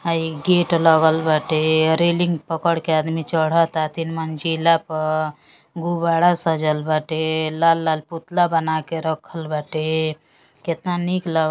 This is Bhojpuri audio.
हई गेट लगल बाटे। रेलिंग पकड़ के आदमी चढ़ता तीन मंजिला प। गुब्बाड़ा सजल बाटे। लाल लाल पुतला बनाके रखल बाटे। केतना निक ल --